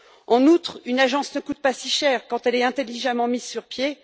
En outre, une agence ne coûte pas si cher quand elle est intelligemment mise sur